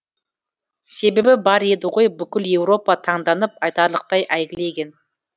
себебі бар еді ғой бүкіл еуропа таңданып айтарлықтай әйгілеген